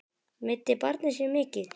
Meiddi barnið sig mikið?